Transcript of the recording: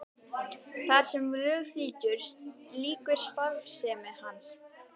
Þar sem lög þrýtur lýkur starfsemi hans.